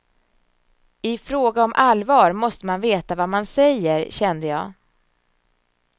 I fråga om allvar måste man veta vad man säger, kände jag.